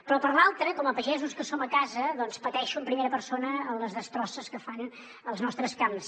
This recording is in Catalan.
però per l’altra com a pagesos que som a casa doncs pateixo en primera persona les destrosses que fan als nostres camps